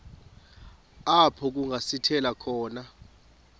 apho kungasithela khona